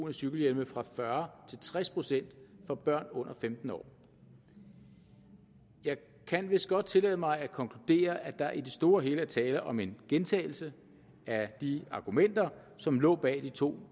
af cykelhjelm fra fyrre til tres procent for børn under femten år jeg kan vist godt tillade mig at konkludere at der i det store og hele er tale om en gentagelse af de argumenter som lå bag de to